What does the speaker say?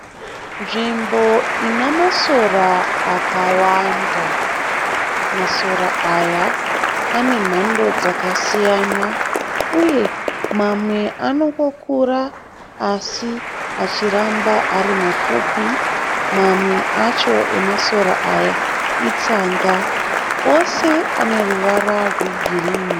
Nzvimbo inamasora akawanda masora aya anemhando dzakasiyana. Uye mamwe anongokura asi achiramba ari mapfupi mamwe acho emasora aya itsanga. Ose aneruvara rwegirini.